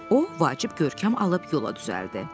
O vacib görkəm alıb yola düzəldi.